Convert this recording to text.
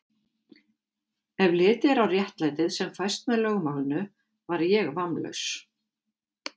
Ef litið er á réttlætið, sem fæst með lögmálinu, var ég vammlaus.